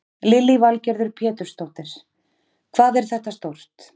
Lillý Valgerður Pétursdóttir: Hvað er þetta stórt?